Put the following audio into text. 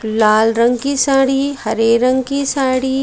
लाल रंग की साड़ी हरे रंग की साड़ी--